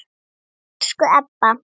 Elsku Ebba.